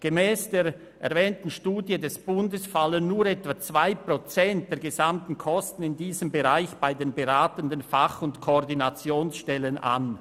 Gemäss der erwähnten Studie des Bundes fallen nur etwa 2 Prozent der gesamten Kosten in diesem Bereich bei den beratenden Fach- und Koordinationsstellen an.